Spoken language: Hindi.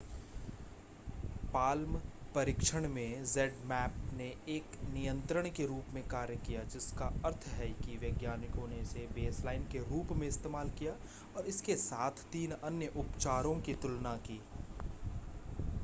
palm परीक्षण में zmapp ने एक नियंत्रण के रूप में कार्य किया जिसका अर्थ है कि वैज्ञानिकों ने इसे बेसलाइन के रूप में इस्तेमाल किया और इसके साथ तीन अन्य उपचारों की तुलना की